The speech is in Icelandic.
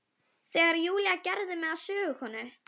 Íssól, hvernig verður veðrið á morgun?